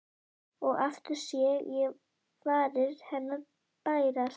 Og aftur sé ég varir hennar bærast.